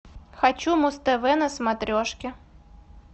хочу муз тв на смотрешке